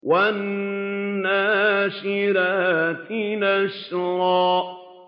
وَالنَّاشِرَاتِ نَشْرًا